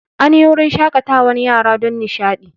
An yi wurin shaƙatawan yara don nishaɗi